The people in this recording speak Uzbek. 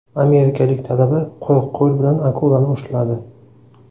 Amerikalik talaba quruq qo‘l bilan akulani ushladi .